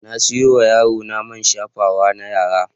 Na sayo wa yarona man shafawa na yara.